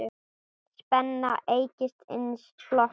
Spenna eykst innan flokks hans.